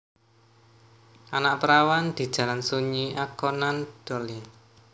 Anak Perawan di Jalan Sunyi A Conan Doyle